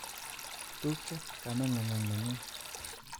Tupcho kame nguk ak nenyun